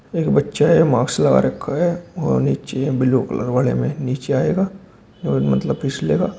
एक बच्चा है मार्क्स लगा रखा है वह नीचे ब्लू कलर वाले में नीचे आएगा और मतलब फिसले गा।